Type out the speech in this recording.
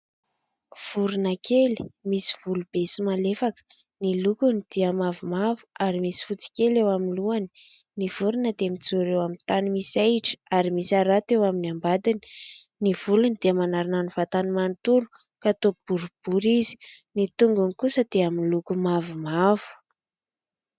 Vorona kely misy volo be sy malefaka. Ny lokony dia mavomavo ary misy fotsy kely eo amin'ny lohany. Ny vorona dia mijoro eo amin'ny tany misy ahitra ary misy harato eo amin'ny ambadiny. Ny volony dia manarona ny vatany manontolo ka toa boribory izy. Ny tongony kosa dia miloko mavomavo.